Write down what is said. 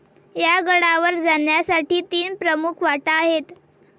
या गडावर जाण्यासाठी तीन प्रमुख वाटा आहेत